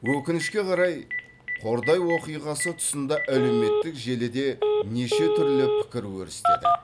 өкінішке қарай қордай оқиғасы тұсында әлеуметтік желіде нешетүрлі пікір өрістеді